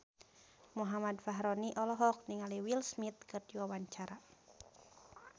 Muhammad Fachroni olohok ningali Will Smith keur diwawancara